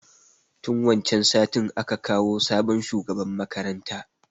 Tun wancan satin a ka kawo sabon shugaban makaranta.